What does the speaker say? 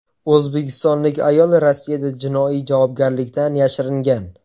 O‘zbekistonlik ayol Rossiyada jinoiy javobgarlikdan yashiringan.